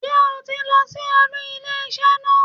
Sé o ti lọ sí olú ilé isé naa